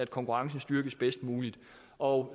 konkurrencen styrkes bedst muligt og